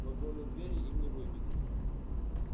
вагонные двери им не выбить